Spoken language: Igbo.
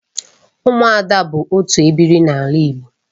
Ụmụada bụ otu ebiri n'ala Igbo